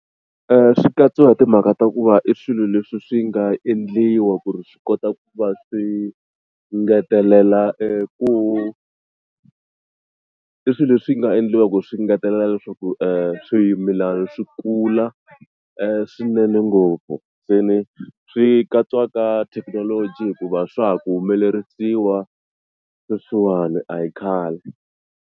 Swi katsiwa hi timhaka ta ku va i swilo leswi swi nga endliwa ku ri swi kota ku va swi engetelela eku i swilo leswi nga endliwaka ku swi engetelela leswaku swimilana swi kula swinene ngopfu se ni swi katsiwa ka thekinoloji hikuva swa ha ku humelerisiwa sweswiwani a hi khale.